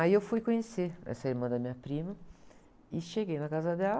Aí eu fui conhecer essa irmã da minha prima e cheguei na casa dela.